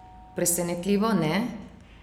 Presenetljivo, ne?